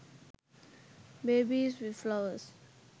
babies with flowers